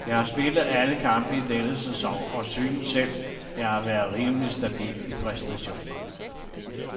Jeg har spillet alle kampe i denne sæson og synes selv, jeg har været rimelig stabil i præstationerne.